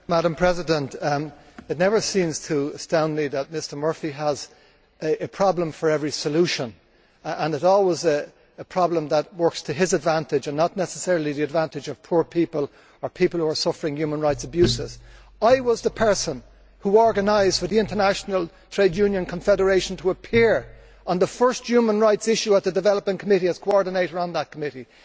Madam President, it never seems to astound me that Mr Murphy has a problem for every solution and it is always a problem which works to his advantage and not necessarily to the advantage of poor people or people who are suffering human rights abuses. I was the person who organised for the International Trade Union Confederation to appear on the first human rights issue at the Development Committee, as coordinator on that committee.